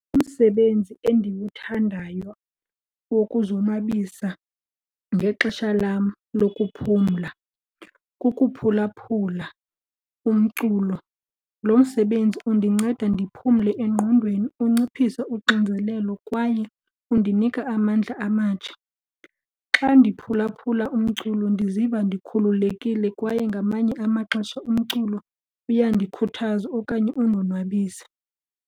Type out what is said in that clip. Umsebenzi endiwuthandayo wokuzonwabisa ngexesha lam lokuphumla kukuphulaphula umculo. Lo msebenzi undinceda ndiphumle engqondweni, unciphise unxinzelelo kwaye undinika amandla amatsha. Xa ndiphulaphula umculo ndiziva ndikhululekile kwaye ngamanye amaxesha umculo uyandikhuthaza okanye undonwabise.